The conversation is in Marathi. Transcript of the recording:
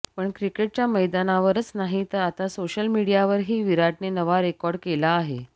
पण क्रिकेटच्या मैदानावरच नाही तर आता सोशल मीडियावर ही विराटने नवा रेकॉर्ड केला आहे